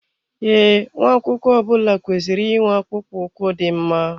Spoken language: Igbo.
Ee, nwa akwụkwọ ọbula kwesịrị ị nwe akpụkpọ ụkwụ dị mma